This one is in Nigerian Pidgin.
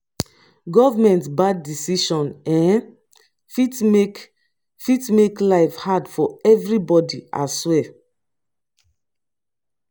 government bad decision um fit make fit make life hard for everybody ahswear.